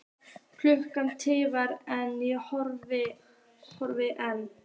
Klukkan tifar en ég horfi enn.